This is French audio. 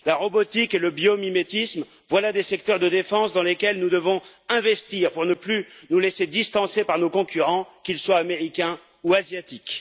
La robotique et le biomimétisme, voilà des secteurs de défense dans lesquels nous devons investir pour ne plus nous laisser distancer par nos concurrents, qu'ils soient américains ou asiatiques.